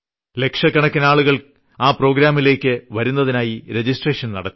ലക്ഷക്കണക്കിന് ആളുകൾ ആ പ്രോഗ്രാമിലേയ്ക്ക് വരുന്നതിനായി രജിസ്ട്രേഷൻ നടത്തി